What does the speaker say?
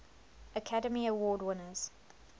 academy award winners